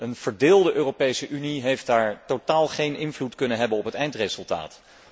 Een verdeelde Europese Unie heeft daar totaal geen invloed kunnen uitoefenen op het eindresultaat.